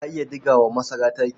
Ka iya ɗiga wa masara taki?